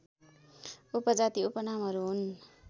उपजाति उपनामहरू हुन्